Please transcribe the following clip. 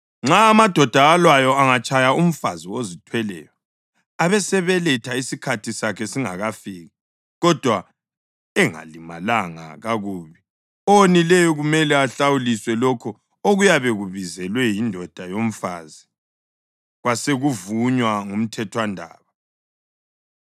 Nxa amadoda alwayo angatshaya umfazi ozithweleyo abesebeletha isikhathi sakhe singakafiki, kodwa engalimalanga kakubi, owonileyo kumele ahlawuliswe lokho okuyabe kubizelwe yindoda yomfazi kwasekuvunywa ngumthethwandaba.